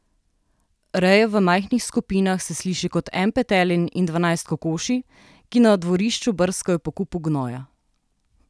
Reja v majhnih skupinah se sliši kot en petelin in dvanajst kokoši, ki na dvorišču brskajo po kupu gnoja.